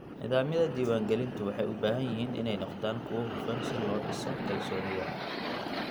Nidaamyada diiwaangelintu waxay u baahan yihiin inay noqdaan kuwo hufan si loo dhiso kalsoonida.